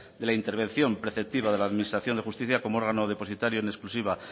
de la intervención preceptiva de la administración de justicia como órgano depositario en exclusiva